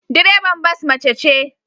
Direban bas mace ce